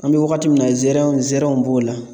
An bɛ wagati min na nsɛrɛ nsɛrɛw b'o la